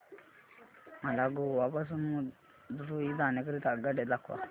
मला गोवा पासून मदुरई जाण्या करीता आगगाड्या दाखवा